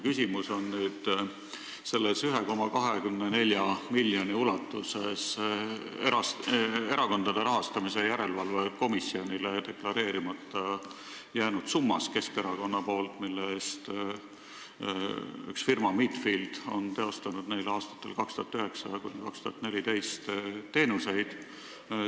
Küsimus on nüüd selles 1,24 miljoni ulatuses Erakondade Rahastamise Järelevalve Komisjonile deklareerimata jäänud summas, mille eest üks firma, Midfield on pakkunud Keskerakonnale aastatel 2009–2014 teenuseid.